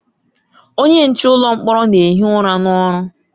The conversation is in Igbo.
Onye nche ụlọ mkpọrọ na-ehi ụra n'ọrụ.